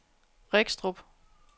Regstrup